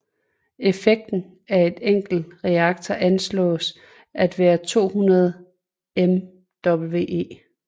Effekten af en enkelt reaktor anslås til at være 200 MWe